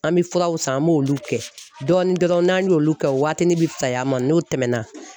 An bɛ furaw san an b'olu kɛ dɔɔnin dɔɔnin n'an y'olu kɛ waatinin bi fisay'a ma n'olu tɛmɛna